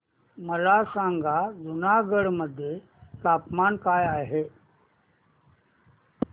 मला सांगा जुनागढ मध्ये तापमान काय आहे